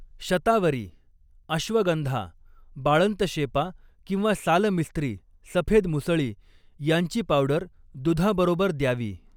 शतावरी अश्वगंधा बाळंतशेपा किंवा सालमिस्त्री सफेद मुसळी यांची पावडर दुधाबरोबर द्यावी.